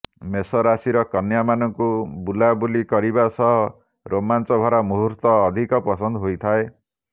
ମେଷ ରାଶିର କନ୍ୟା ମାନଙ୍କୁ ବୁଲାବୁଲି କରିବା ସହ ରୋମାଞ୍ଚ ଭରା ମୁହୂର୍ତ୍ତ ଅଧିକ ପସନ୍ଦ ହୋଇଥାଏ